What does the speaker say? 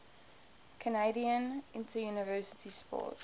canadian interuniversity sport